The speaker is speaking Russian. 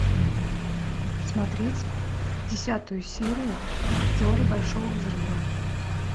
смотреть десятую серию теории большого взрыва